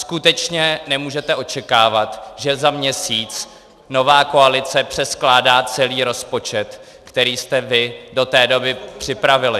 Skutečně nemůžete očekávat, že za měsíc nová koalice přeskládá celý rozpočet, který jste vy do té doby připravili.